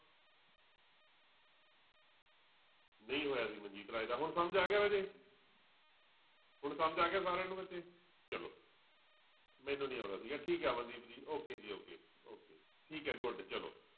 ਨਹੀਂ ਹੋਇਆ ਸੀ ਮਨਜੀਤ ਰਾਏ ਦਾ ਹੁਣ ਸਮਝ ਆ ਗਿਆ ਰਾਜੇ ਹੁਣ ਸਮਝ ਆ ਗਿਆ ਸਾਰਿਆਂ ਨੂੰ ਬੱਚੇ ਚਲੋ ਮੈਨੂੰ ਨੂੰ ਨੀ ਆਉਂਦਾ ਸੀਗਾ ਠੀਕ ਆ ਅਮਨਦੀਪ ਜੀ okay ਜੀ okay okay ਠੀਕ ਹੈ good ਚਲੋ।